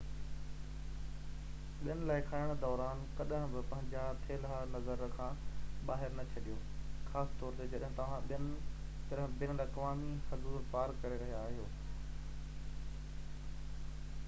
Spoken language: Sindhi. ٻين لاءِ کڻڻ دوران ڪڏهن به پنهنجا ٿيلها نظر کان ٻاهر نه ڇڏيون خاص طور تي جڏهن توهان بين الاقوامي حدون پار ڪري رهيا هجو